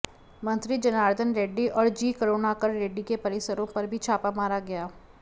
मंत्री जनार्दन रेड्डी और जी करुणाकर रेड्डी के परिसरों पर भी छापा मारा गया